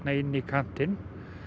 inn í kantinn